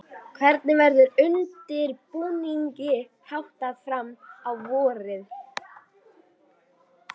Hvernig verður undirbúningi háttað fram á vorið?